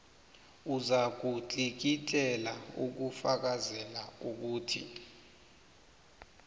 ozakutlikitlela ukufakazela ukuthi